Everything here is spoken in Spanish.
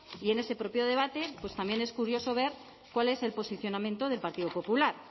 y en ese propio debate pues también es curioso ver cuál es el posicionamiento del partido popular